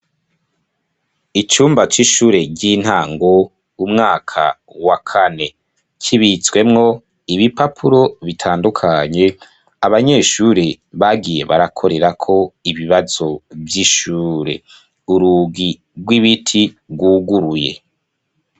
Icumba c'ishure ry'intango umwaka wa kane kibitswemwo ibi papuro bitandukanye abanyeshuri bagiye barakorerako ibibazo vy'ishure urugi rw'ibiti rwuguruye.